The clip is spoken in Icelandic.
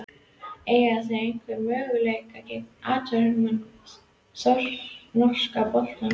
Eiga þeir einhverja möguleika gegn atvinnumönnunum í norska boltanum?